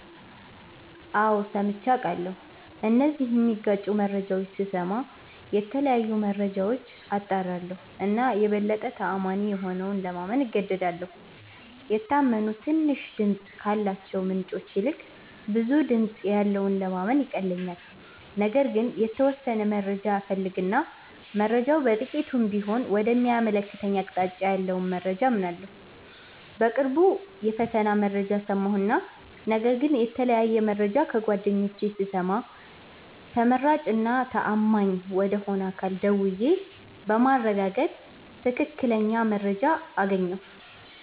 አዎ ሠምቼ አቃለሁ እነዚህን ሚጋጩ መረጃዎች ስስማ የተለያዩ መረጃዎች አጣራለሁ እና የበለጠ ተአማኒ የሆነውን ለማመን እገደዳለሁ። የታመኑ ትንሽ ድምፅ ካላቸው ምንጮች ይልቅ ብዙ ድምጽ ያለውን ለማመን ይቀለኛል። ነገር ግን የተወሠነ መረጃ እፈልግ እና መረጃው በጥቂቱም ቢሆን ወደ ሚያመለክተኝ አቅጣጫ ያለውን መረጃ አምናለሁ። በቅርቡ የፈተና መረጃ ሠማሁ እና ነገር ግን የተለያየ መረጃ ከጓደኞቼ ስሰማ ተመራጭ እና ተአማኝ ወደ ሆነ አካል ደውዬ በማረጋገጥ ትክክለኛ መረጃ አገኘሁ።